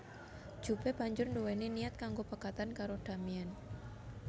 Jupe banjur nduweni niat kanggo pegatan karo Damien